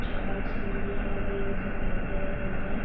चार सीढ़िया लगी हुई दिखाई दे रही हैं।